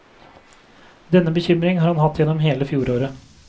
Denne bekymring har han hatt gjennom hele fjoråret.